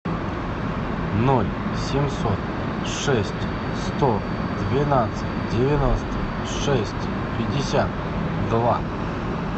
ноль семьсот шесть сто двенадцать девяносто шесть пятьдесят два